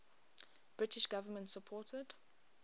british government supported